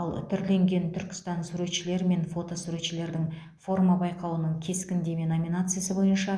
ал түрленген түркістан суретшілер мен фото суретшілердің форма байқауының кескіндеме номинациясы бойынша